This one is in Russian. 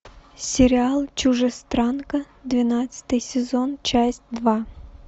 сериал чужестранка двенадцатый сезон часть два